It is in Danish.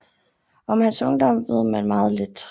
Om hans ungdom ved man meget lidt